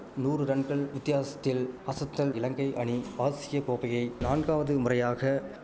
நூறு ரன்கள் வித்தியாசத்தில் அசத்தல் இலங்கை அணி ஆசிய கோப்பையை நான்காவது முறையாக